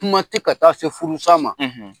Kuma tɛ ka taa se furusa ma